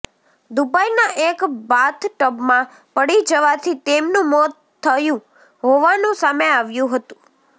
દુબઇના એક બાથટબમાં પડી જવાથી તેમનું મોત થયું હોવાનું સામે આવ્યું હતું